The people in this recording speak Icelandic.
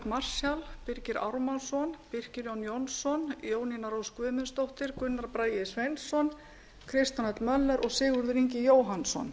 marshall birgir ármannsson birkir jón jónsson jónína rós guðmundsdóttir gunnar bragi sveinsson kristján l möller og sigurður ingi jóhannsson